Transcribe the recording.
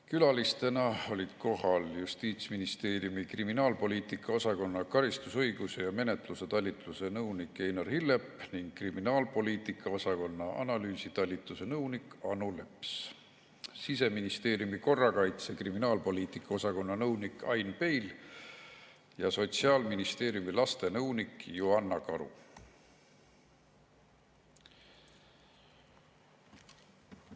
Külalistena olid kohal Justiitsministeeriumi kriminaalpoliitika osakonna karistusõiguse ja menetluse talituse nõunik Einar Hillep ning kriminaalpoliitika osakonna analüüsitalituse nõunik Anu Leps, Siseministeeriumi korrakaitse‑ ja kriminaalpoliitika osakonna nõunik Ain Peil ja Sotsiaalministeeriumi lastenõunik Joanna Karu.